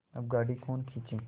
अब गाड़ी कौन खींचे